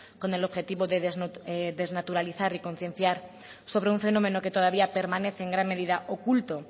con el objetivo de desnaturalizar y concienciar sobre un fenómeno que todavía permanece en gran medida oculto